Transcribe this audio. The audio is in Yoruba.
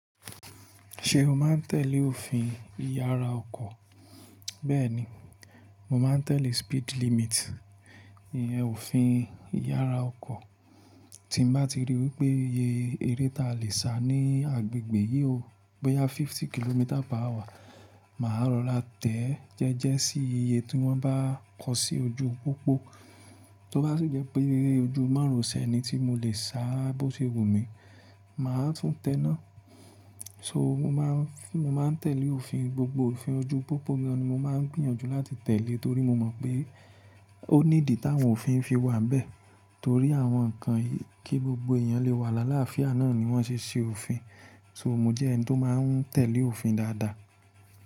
Ṣe o máa ń tẹ̀lé òfin ìyára ọkọ̀? Bẹ́ẹ̀ni, mo máa ń tẹ̀lé speed limit, ìyẹn òfin ìyára ọkọ̀. Tí mo bá ti ríi wípé iye eré ta lè sá ní agbègbè yí ò bo yá fifty kilometres per hour, màá rọra tẹ́ ẹ́ jẹ́jẹ́ sí iye tí wọ́n bá kọ sí ojú pópó. Tí ó bá sì jẹ́ pé eré ojú máro se ni tí mo lè sá bó ti wù mí, màá tún tẹná. So mo máa ń tẹ̀lé òfin, gbogbo òfin ojú pópó ni mo máa ń gbìyànjú láti tẹ̀lé torí mo mọ̀ pé ó ní ìdí táwọn òfin fi wà n bẹ́ẹ̀ torí àwọn ǹkan yii kí gbogbo èèyàn lè wà láláàfíà náà ni wọ́n ṣe ṣe òfin. So mo jẹ́ ẹni tó máa ń tẹ̀lé òfin dáadáa.